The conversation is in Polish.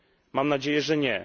Mam nadzieję, że nie.